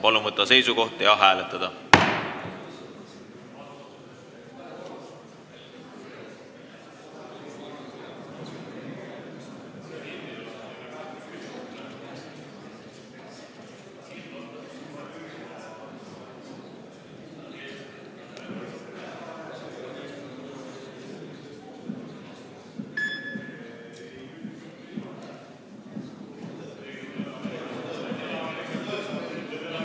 Palun võtta seisukoht ja hääletada!